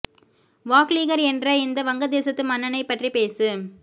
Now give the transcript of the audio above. வாக்லீகர் என்கிற இந்த வங்க தேசத்து மன்னனைப் பற்றி பேசு